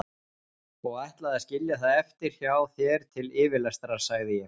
Og ætlaði að skilja það eftir hjá þér til yfirlestrar, sagði ég.